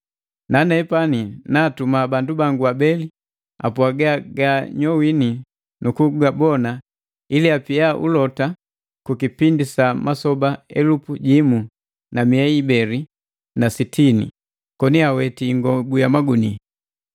Nanepani naatuma bandu bangu abeli apwaga gaanyowini nu kugabona ili apia ulota ku kipindi sa masoba elupu jimu na mia ibeli na sitini, koni aweti ingobu ya magunia.”